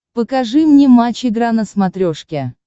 покажи мне матч игра на смотрешке